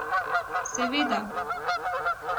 Seveda.